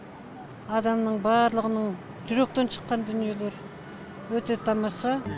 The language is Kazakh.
адамның барлығының жүректен шыққан дүниелер өте тамаша